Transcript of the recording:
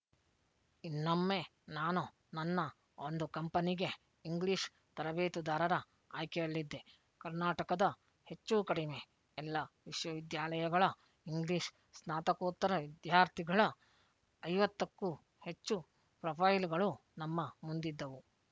ಇನ್ನೊಮ್ಮೆ ನಾನು ನನ್ನ ಒಂದು ಕಂಪನಿಗೆ ಇಂಗ್ಲೀಷ್ ತರಬೇತುದಾರರ ಆಯ್ಕೆಯಲ್ಲಿದ್ದೆ ಕರ್ನಾಟಕದ ಹೆಚ್ಚೂಕಡಿಮೆ ಎಲ್ಲ ವಿಶ್ವವಿದ್ಯಾಲಯಗಳ ಇಂಗ್ಲೀಷ್ ಸ್ನಾತಕೋತ್ತರ ವಿದ್ಯಾರ್ಥಿಗಳ ಐವತ್ತಕ್ಕೂ ಹೆಚ್ಚು ಪ್ರೊಫೈಲ್‌ ಗಳು ನಮ್ಮ ಮುಂದಿದ್ದವು